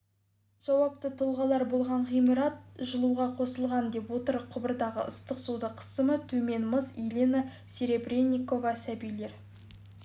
жауапты тұлғалар болса ғимарат жылуға қосылған деп отыр құбырдағы ыстық судың қысымы төмен-мыс елена серебренникова сәбилер